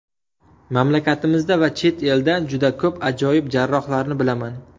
Mamlakatimizda va chet elda juda ko‘p ajoyib jarrohlarni bilaman.